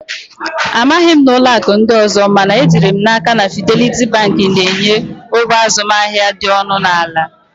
I don't know of other banks, but I am sure that Fidelity Bank offers very low transaction charges